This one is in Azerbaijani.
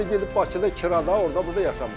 Mən də gedib Bakıda kirada, orda burda yaşamışam.